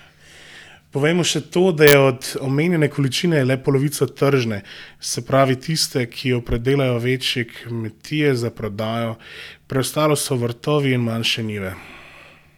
Povejmo še to, da je od omenjene količine le polovica tržne, se pravi tiste, ki jo pridelajo večji kmetje za prodajo, preostalo so vrtovi in manjše njive.